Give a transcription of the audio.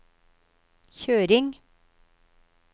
kjøring